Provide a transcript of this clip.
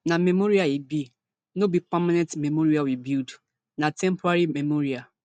na memorial e be no be permanent memorial we build na temporary memorial